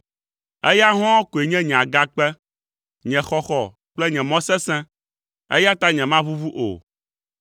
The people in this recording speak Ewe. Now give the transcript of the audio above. Eya hɔ̃ɔ koe nye nye agakpe, nye xɔxɔ kple nye mɔ sesẽ, eya ta nyemaʋuʋu o.